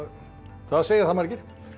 það segja það margir